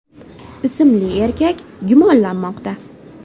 ismli erkak gumonlanmoqda.